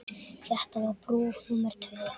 Þetta var brú númer tvö.